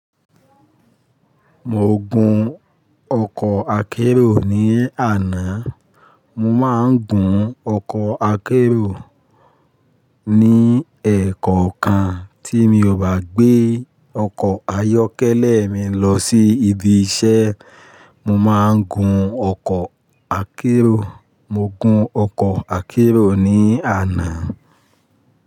Mo gun ọkọ̀ akérò ní àná. Mo máa ń gun ọkọ̀ akérò ní ẹ̀ẹ̀kọ̀kan tí mi ò bá gbé ọkọ̀ ayọ́kẹ́lẹ́ mi lọ sí ibi iṣẹ́, mo máa ń gun ọkọ̀ akérò. Mo gun ọkọ̀ akérò ní àná.